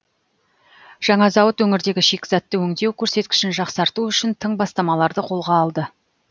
жаңа зауыт өңірдегі шикізатты өңдеу көрсеткішін жақсарту үшін тың бастамаларды қолға алды